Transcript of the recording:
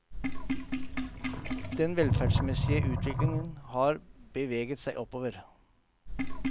Den velferdsmessige utvikling har beveget seg oppover.